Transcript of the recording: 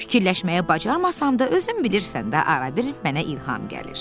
Fikirləşməyə bacarmasam da, özüm bilirsən də, arada bir mənə ilham gəlir.